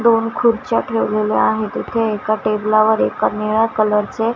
दोन खुर्च्या ठेवलेल्या आहेत इथे एका टेबला वर एका निळ्या कलर चे --